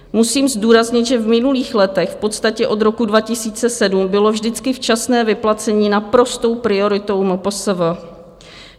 Musím zdůraznit, že v minulých letech, v podstatě od roku 2007, bylo vždycky včasné vyplacení naprostou prioritou MPSV.